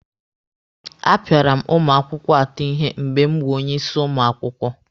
A pịara m ụmụ akwụkwọ atọ ihe mgbe m wụ onye isi ụmụ akwụkwọ.